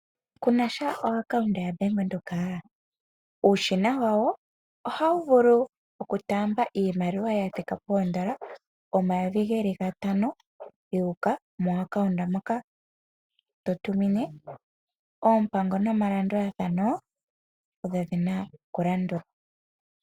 Kunasha o akaunta ya Bank Windhoek ?uushina wawo ohawu vulu oku taamba iimaliwa ya thika poondola omayovi geli gatano yuuka mo akaunta moka to tumine. Oompango nomalandulathano odho dhina oku landulwa.